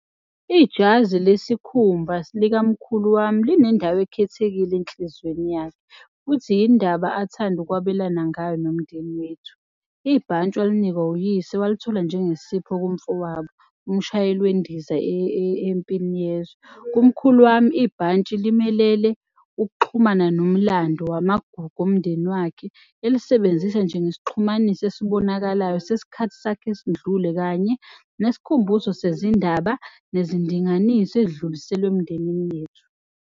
Ijazi lesikhumba likamkhulu wami linendawo ekhethekile enhlizweni yami. Futhi yindaba athanda ukwabelana ngayo nomndeni wethu. Ibhantshi walinikwa uyise walithola njengesipho kumfowabo, umshayeli wendiza empini yezwe. Umkhulu wami ibhantshi limelele ukuxhumana nomlando wamagugu omndeni wakhe. Elisebenzisa njengesixhumanisi esibonakalayo sesikhathi sakhe esindlule kanye nesikhumbuzo sezindaba nezindinganiso ezidluliselwe emndenini yethu.